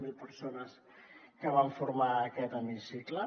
zero persones que van formar aquest hemicicle